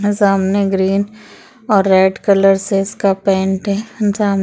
न सामने ग्रीन और रेड कलर से इसका पेंट हैं जान--